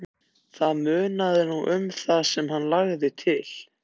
Það munaði nú um það sem hann lagði til.